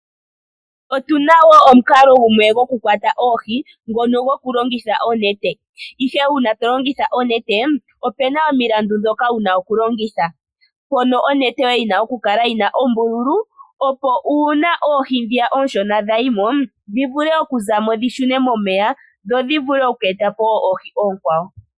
Otuna woo omukalo gumwe gokukwata oohi ngono gokulongitha onete. Uuna tolongitha onete opuna omilandu ndhoka wuna okulongitha. Onete yoye oyina okukala yina ombululu opo uuna oohi ndhiya oonshona dha yimo dhi vule okuza mo dhi shune momeya dho dhi vule oku eta po oohi oonkwawo.